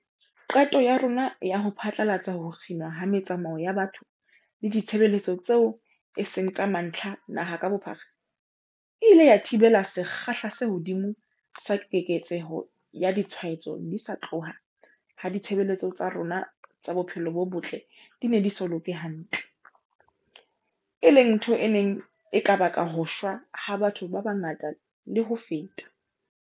Qeto ya rona ya ho phatlalatsa ho kginwa ha metsamao ya batho le ditshebeletso tseo e seng tsa mantlha naha ka bophara, e ile ya thibela sekgahla se hodimo sa keketseho ya ditshwaetso di sa tloha ha ditshebeletso tsa rona tsa bophelo bo botle di ne di so loke hantle, e leng ntho e neng e ka baka ho shwa ha batho ba bangata le ho feta.